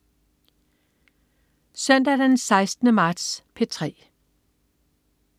Søndag den 16. marts - P3: